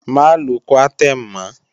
Má lo Coartem mọ́!